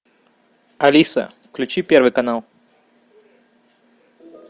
алиса включи первый канал